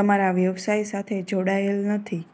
તમારા વ્યવસાય સાથે જોડાયેલ નથી